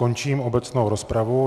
Končím obecnou rozpravu.